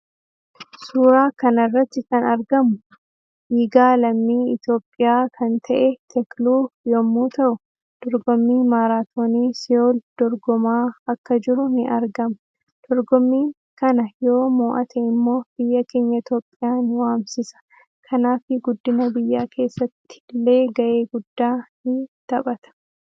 Suuraa kanarratti kan argamu fiigaa lammii iitiyoophiyaa kan ta'e tekluu yommmu ta'uu dorgommi maaraatoonii se'uul dorgomaa Akka jiru ni argama. Dorgommiin kana yoo moo'ate immo biyya keenya itoophiya ni waamsisa kanafii guddina biyya keessattille ga'ee guddaa ni taphata